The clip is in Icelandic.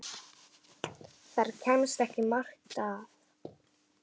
Þar kemst ekki margt að.